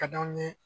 Ka d'anw ye